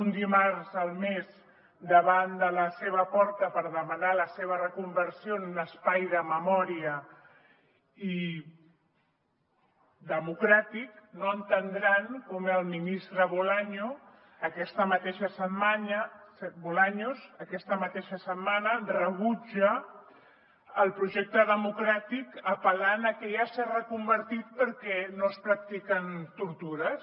un dimarts al mes davant de la seva porta per demanar la seva reconversió en un espai de memòria i democràtic no entendran com el ministre bolaños aquesta mateixa setmana rebutja el projecte democràtic apel·lant a que ja s’ha reconvertit perquè no s’hi practiquen tortures